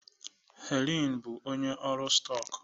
Helen bụ onye ọrụ stọk